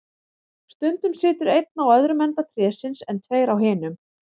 Stundum situr einn á öðrum enda trésins, en tveir á hinum.